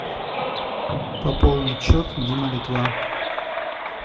пополнить счет дима литва